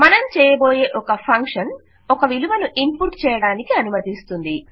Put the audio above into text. మనం చేయబోయే ఒక ఫంక్షన్ ఒక విలువను ఇన్పుట్ చేయడానికి అనుమతిస్తుంది